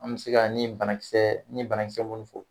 An bɛ se ka ni banakisɛ ni banakisɛ minnu fɔ